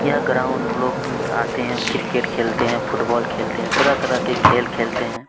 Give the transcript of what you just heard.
यह ग्राऊंड लोग अ आते है क्रिकेट खेलते है फुटबॉल खेलते है तरह - तरह के खेल खेलते है।